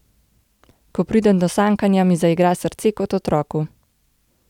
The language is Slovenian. Ko pridem do sankanja, mi zaigra srce kot otroku.